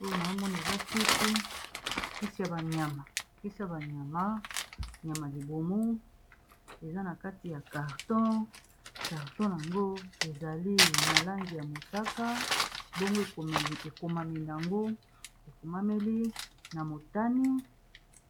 Oyo na omoni eza kisi kisi ya banyama kisi ya banyama nyama libomo eza na kati ya carton carton yango ezali na langi ya mosaka mbongo ekomameli yango ekomameli na motani